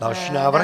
Další návrh.